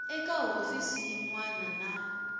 eka hofisi yin wana na